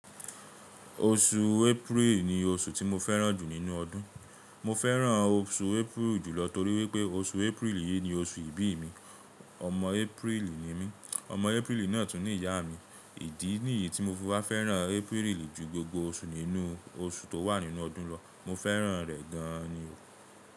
Oṣù April ni oṣù tí mo fẹ́ràn jù nínú ọdún. Mo fẹ́ràn oṣù April jù lọ torí wípé oṣù April yìí ni oṣù ìbí mi. Ọmọ April ni mí. Ọmọ April náà tún ni ìyá mi. Ìdí nìyí tí mo fi wáa fẹ́ràn April jù gbogbo oṣù nínú oṣù tó wà nínú ọdún lọ. Mo fẹ́ràn rẹ̀ gan ni o.